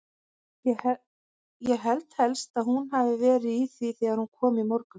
Ég held helst að hún hafi verið í því þegar hún kom í morgun.